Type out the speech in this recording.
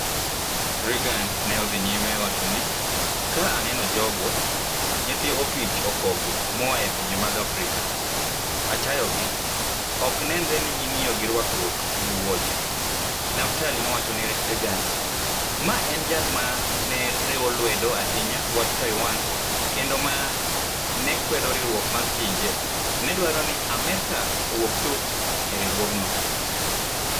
"Reagan ne odhi nyime wacho ni, Ka aneno jogo, nyithi opich okogo moa e pinje mag Afrika - achayogi, ok nenre ni ging'iyo gi rwakruok gi wuoche! Naftali nowacho ni Reagan - ma en jal ma ne riwo lwedo ahinya wach Taiwan, kendo ma ne kwedo Riwruok mar Pinje - ne dwaro ni Amerka owuog chuth e riwruogno.